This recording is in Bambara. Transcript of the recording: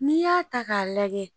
N'i y'a ta k'a lajɛ